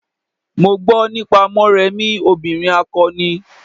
Mo gbo nípa Morèmi obìrin akọni.